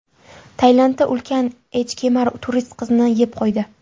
Tailandda ulkan echkemar turist qizni yeb qo‘ydi.